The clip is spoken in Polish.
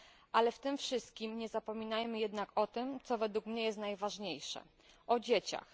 Ale w tym wszystkim nie zapominajmy jednak o tym, co według mnie jest najważniejsze o dzieciach.